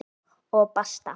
Og basta!